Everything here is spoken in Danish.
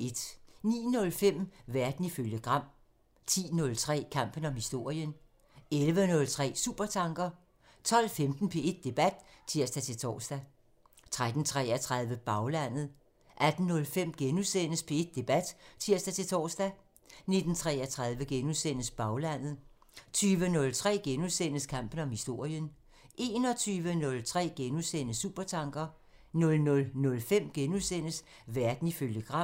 09:05: Verden ifølge Gram (tir) 10:03: Kampen om historien (tir) 11:03: Supertanker (tir) 12:15: P1 Debat (tir-tor) 13:33: Baglandet (tir) 18:05: P1 Debat *(tir-tor) 19:33: Baglandet *(tir) 20:03: Kampen om historien *(tir) 21:03: Supertanker *(tir) 00:05: Verden ifølge Gram *(tir)